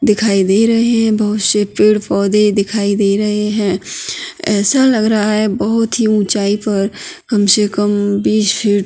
दिखाई दे रहे हैं बहौत से पेड़-पौधे दिखाई दे रहे हैं ऐसा लग रहा है बहौत ही ऊंचाई पर कम से कम बिस फ़ीट --